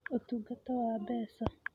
Ũtungata wa Mbeca: